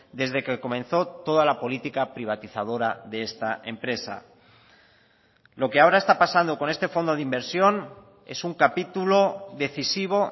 desde que comenzó toda la política privatizadora de esta empresa lo que ahora está pasando con este fondo de inversión es un capitulo decisivo